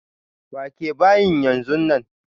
Wake bayin yanzu nan!